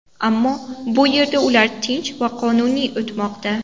Ammo bu yerda ular tinch va qonuniy o‘tmoqda.